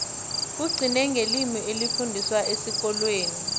kugcine ngelimi elifundiswa esikolweni